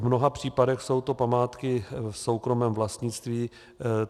V mnoha případech jsou to památky v soukromém vlastnictví.